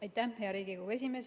Aitäh, hea Riigikogu esimees!